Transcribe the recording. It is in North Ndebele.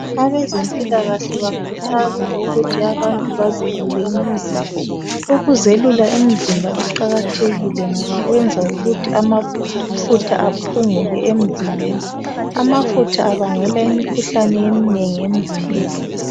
Abezempilakahle bakhuthaza ukuthi abantu bazelule imizimba. Ukuzelula imizimba kuqakathekile ngoba kwenza ukuthi amafutha aphunguke emzimbeni. Amafutha abangela imikhuhlane eminengi emzimbeni.